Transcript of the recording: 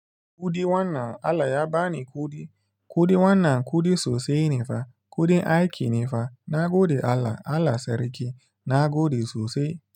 Kuɗi wannan Allah ya bani kuɗi, kuɗi wannan kuɗi sosai ne fa, kuɗin aiki ne fa, na gode Allah, Allah sarki, na gode sosai.